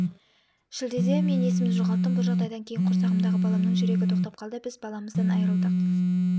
шілдеде мен есімді жоғалттым бұл жағдайдан кейін құрсағымдағы баламның жүрегі тоқтап қалды біз баламыздан айырылдық